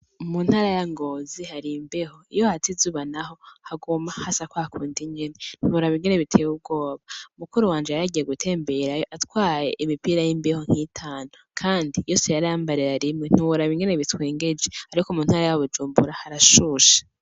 Mu ntara ya ngozi har'imbeho nyinshi iyo hatse izuba haguma hasa kwa kundi nyene ntimworaba ingene biteye ubwoba, mukuru wanje yaragiye gutemberayo ajanye imipira y'imbeho nk'itanu kandi yose yarayambarira rimwe ntiworaba ingene bitwengeje, ariko mu ntara ya bujumbura harashushe.